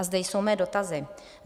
A zde jsou mé dotazy.